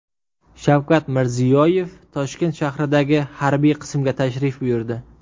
Shavkat Mirziyoyev Toshkent shahridagi harbiy qismga tashrif buyurdi.